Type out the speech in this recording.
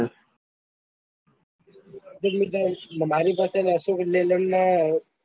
દેખ મિત્ર મારી પાસે